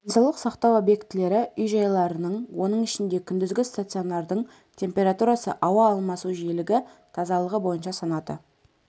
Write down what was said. денсаулық сақтау объектілері үй-жайларының оның ішінде күндізгі стационардың температурасы ауа алмасу жиілігі тазалығы бойынша санаты